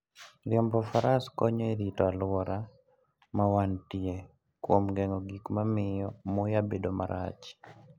Riembo faras konyo e rito alwora ma wantie kuom geng'o gik ma miyo muya bedo marach.